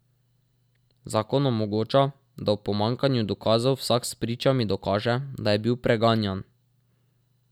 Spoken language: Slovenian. Zakon omogoča, da ob pomanjkanju dokazov vsak s pričami dokaže, da je bil preganjan.